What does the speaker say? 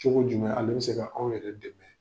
Cogo jumɛn ale be se ka anw yɛrɛ dɛmɛ?